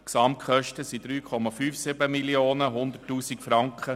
Die Gesamtkosten belaufen sich auf 3,57 Mio. Franken.